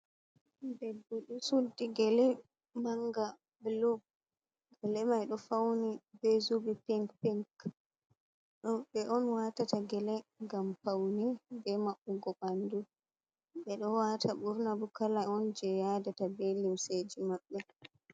Bebbe ɗo suddi gele manga gele mai ɗo fawni bee zubi pink pink, ɓe ɗon waatata gele ngam pawne bee maɓɓugo ɓanndu bee ɗo waata burna ɓurna fuu kala on jey yaadata bee lumseeji maɓɓe.